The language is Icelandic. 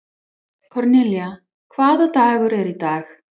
Kornelía, hvaða dagur er í dag?